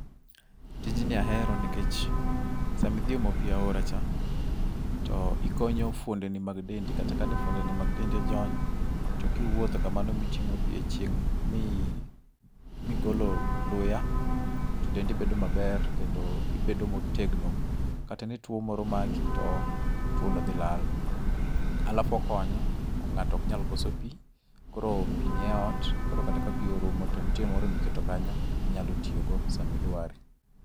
Tijni ahero nikech sama idhi omo pi e aora cha, to ikonyo fuondeni mag dendi, kata kane fuondeni mag dendi ojony, to kiwuotho kamano miting'o pi e chieng' mi migolo luya to dendi bedo maber kendo ibedo motegno. Kata nituo moro maki to tuono dhi lal. alafu okonyo, ng'ato ok nyal koso pi. Koro pi nie ot, koro kata ka pi orumo to nitie moro miketo kanyo, inyalo tiyogo sama idware.